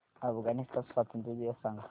अफगाणिस्तान स्वातंत्र्य दिवस सांगा